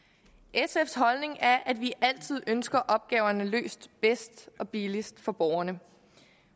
sfs holdning er at vi altid ønsker opgaverne løst bedst og billigst for borgerne